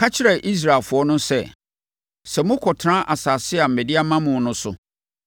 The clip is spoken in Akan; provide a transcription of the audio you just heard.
“Ka kyerɛ Israelfoɔ no sɛ, ‘Sɛ mokɔtena asase a mede ama mo no so